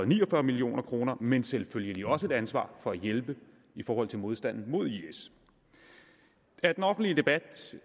ni og fyrre million kr men selvfølgelig også et ansvar for at hjælpe i forhold til modstanden mod is af den offentlige debat